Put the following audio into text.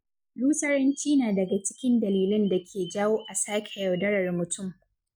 Lusaranci na daga cikin dalilan dake jawo a sake yaudarar mutum.